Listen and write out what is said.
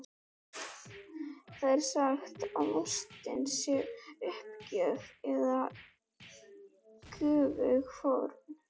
Það er sagt að ástin sé uppgjöf eða göfug fórn.